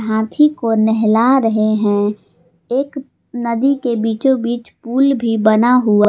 हाथी को नहला रहे हैं एक नदी के बीचो बीच पूल भी बना हुआ--